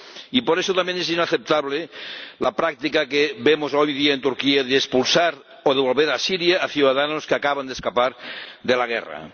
Y por eso también es inaceptable la práctica que vemos hoy día en Turquía de expulsar o devolver a Siria a ciudadanos que acaban de escapar de la guerra.